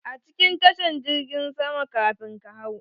A cikin tashan jirgin sama kamin ka hau.